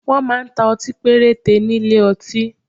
Wọ́n máa ń ta ọtí péréte ní ilé ọtí